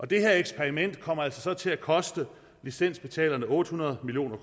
det her eksperiment kommer så altså til at koste licensbetalerne otte hundrede million